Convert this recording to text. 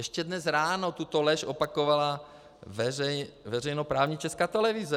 Ještě dnes ráno tuto lež opakovala veřejnoprávní Česká televize.